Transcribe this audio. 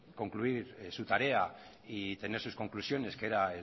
concluir su tarea y tener sus conclusiones que era